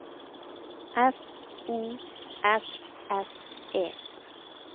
F O S S E